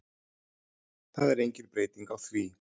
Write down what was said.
Það er engin breyting á því